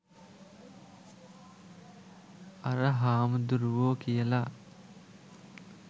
අර හාමුදුරුවෝ කියලා.